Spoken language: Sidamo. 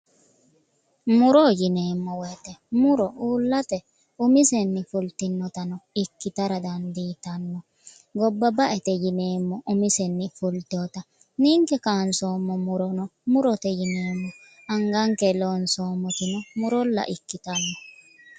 Muro yineemo woyite muro uullate umisenni fultinotano ikkitara dandiitanno gobba ba"ete yineemmo umisenni fultewota ninke kansoommo murono murote yineemmo anganke lonsomotino murolla ikkitanno